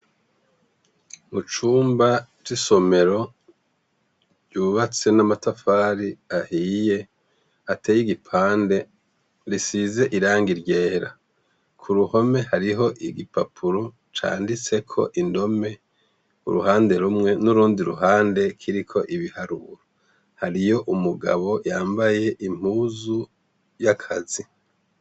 Mucumba c’isomero ,yubatse n’amatafari ahiye, atey’igipande, risize irangi ryera. K’uruhome hariho igipapuro canditseko indome uruhande rumwe n’urundi ruhande kiriko ibiharuro. Hariyo umugabo yambaye impuzu y’akazi.